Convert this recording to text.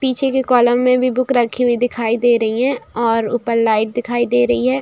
पीछे के कॉलम में भी बुक रखी हुई दिखाई दे रही है और ऊपर लाइट दिखाई दे रही है।